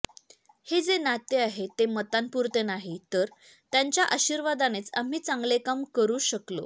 हे जे नाते आहे ते मतांपुरते नाही तर त्यांच्या आशीर्वादानेच आम्ही चांगले काम करू शकलो